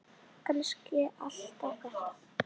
Kannski allt þetta.